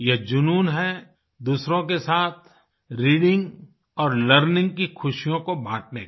ये जुनून है दूसरों के साथ रीडिंग और लर्निंग की खुशियों को बाँटने का